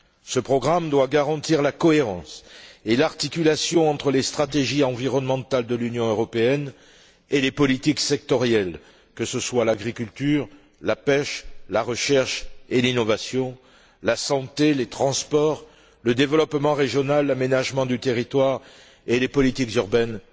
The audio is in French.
Ce programme doit garantir la cohérence et l'articulation entre les stratégies environnementales de l'Union européenne et les politiques sectorielles, que ce soit l'agriculture, la pêche, la recherche et l'innovation, la santé, les transports, le développement régional, l'aménagement du territoire et les politiques urbaines,